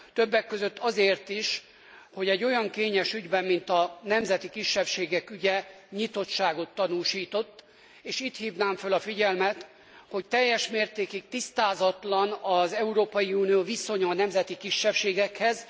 Többek között azért is, hogy egy olyan kényes ügyben, mint a nemzeti kisebbségek ügye, nyitottságot tanúsított, és itt hívnám fel a figyelmet, hogy teljes mértékig tisztázatlan az Európai Unió viszonya a nemzeti kisebbségekhez.